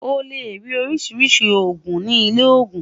ó lè rí oríṣiríṣi ogún ní ilè ogún